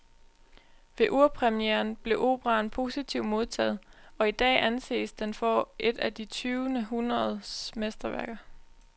Ved urpremieren blev operaen positivt modtaget, og i dag anses den for et af det tyvende århundredes mesterværker.